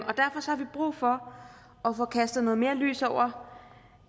brug for at få kastet mere lys over